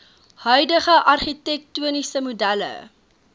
huidige argitektoniese modelle